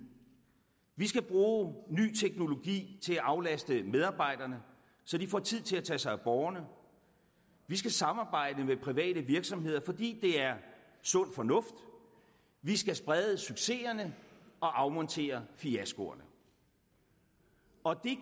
vi skal bruge ny teknologi til at aflaste medarbejderne så de får tid til at tage sig af borgerne vi skal samarbejde med private virksomheder fordi det er sund fornuft og vi skal sprede succeserne og afmontere fiaskoerne